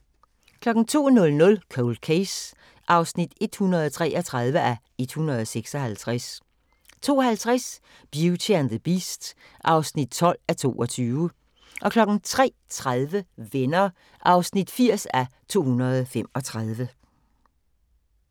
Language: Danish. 02:00: Cold Case (133:156) 02:50: Beauty and the Beast (12:22) 03:30: Venner (80:235)